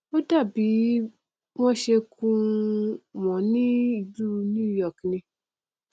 ó dàbí bí wọn ṣe kùn wọn náà ní ìlú new york ni